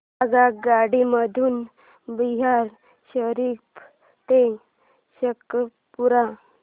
आगगाडी मधून बिहार शरीफ ते शेखपुरा